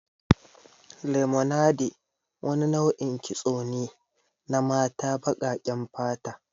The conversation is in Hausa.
Lemonade wani nau'in kitso ne na mata baƙaƙen fata.